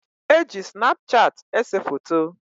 E ji Snapchat ese foto.